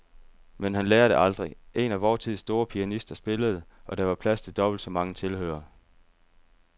Men han lærer det aldrig. En af vor tids store pianister spillede, og der var plads til dobbelt så mange tilhørere.